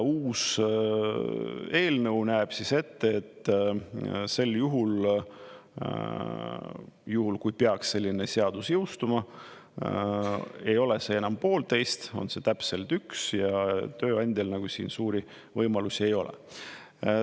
Uus eelnõu näeb ette, et sel juhul, kui peaks selline seadus jõustuma, ei ole see enam 1,5, on täpselt 1 ja tööandjal nagu siin suuri võimalusi ei ole.